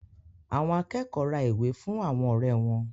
Àwọn akẹ́kọ̀ọ́ ra ìwé fún àwọn ọ̀rẹ́ wọn.